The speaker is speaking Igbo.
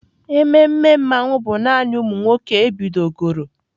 Ememe Mmanwu bụ naanị ụmụ nwoke ebidogoro.